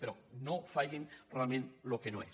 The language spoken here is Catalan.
però no facin realment el que no és